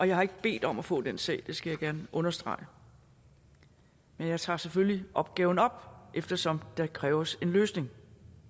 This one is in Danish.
jeg har ikke bedt om at få den sag skal jeg gerne understrege men jeg tager selvfølgelig opgaven op eftersom der kræves en løsning